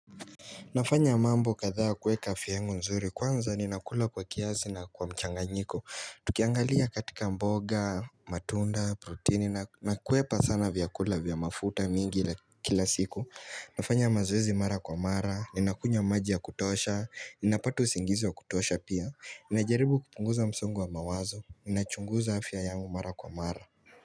Nafanya mambo kadhaa kuweka afya yangu nzuri kwanza ninakula kwa kiasi na kwa mchanganyiko Tukiangalia katika mboga, matunda, protini nakwepa sana vyakula vya mafuta mingi ila kila siku Nafanya mazoezi mara kwa mara, ninakunywa maji ya kutosha, ninapata usingizi wa kutosha pia Ninajaribu kupunguza msongo wa mawazo, ninachunguza afya yangu mara kwa mara.